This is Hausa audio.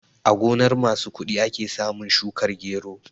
A gonar masu kuɗi ake samun shukar gero